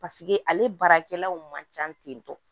Paseke ale baarakɛlaw man ca ten tɔ